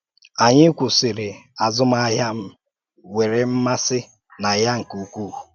Anyị kwụsìrì um azụmahịa m nwere m̀màsị na ya nke ukwuu.